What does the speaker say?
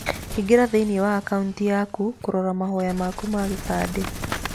Ingĩra thĩiniĩ wa akauniti yaku kũrora mahoya maku ma kĩbandĩ.